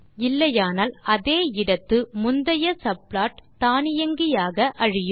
இல்லையானால் அதே இடத்து முந்தைய சப்ளாட் தானியங்கியாக அழியும்